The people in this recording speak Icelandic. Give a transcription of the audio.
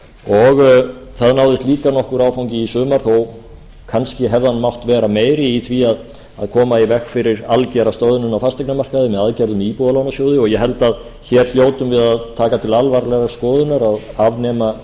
og það náðist líka nokkur áfangi í sumar þó kannski hefði hann mátt vera meiri í því að koma í veg fyrir algera stöðnun á fasteignamarkaði með aðgerðum í íbúðalánasjóði og ég held að hér hljótum við að taka til alvarlegrar skoðunar að afnema